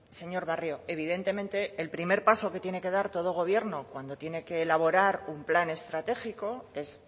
señor barrio evidentemente el primer paso que tiene que dar todo gobierno cuando tiene que elaborar un plan estratégico es